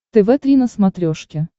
тв три на смотрешке